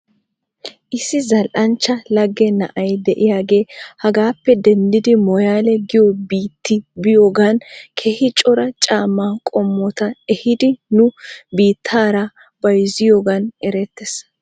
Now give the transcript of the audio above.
Issi zal"anchcha lage na'ay de'iyaagee hagaappe denddidi mooyaale giyoo biitti biyoogan keehi cora caamaa qommota ehiidi nu biitaara bayzziyoogan erettes.